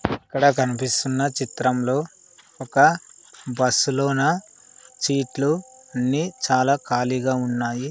ఇక్కడ కనిపిస్తున్న చిత్రం లో ఒక బస్సు లోన సీట్లు అన్నీ చాలా కాలీగ ఉన్నాయి.